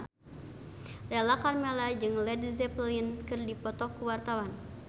Lala Karmela jeung Led Zeppelin keur dipoto ku wartawan